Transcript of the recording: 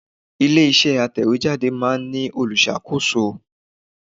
Ilé iṣẹ́ atẹ̀wétà máa ń ní olùṣàkóso.